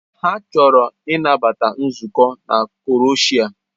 Ha chọrọ ịnabata nzukọ a na Croshia.